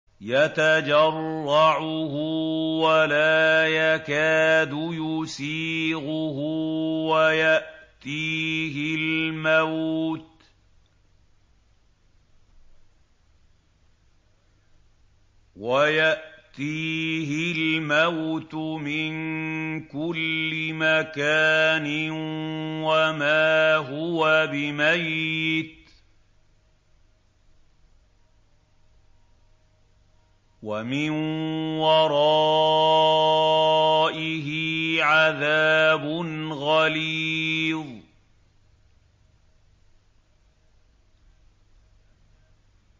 يَتَجَرَّعُهُ وَلَا يَكَادُ يُسِيغُهُ وَيَأْتِيهِ الْمَوْتُ مِن كُلِّ مَكَانٍ وَمَا هُوَ بِمَيِّتٍ ۖ وَمِن وَرَائِهِ عَذَابٌ غَلِيظٌ